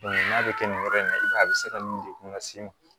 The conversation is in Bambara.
n'a bɛ kɛ nin yɔrɔ in na i b'a ye a bɛ se ka nin degun lase i ma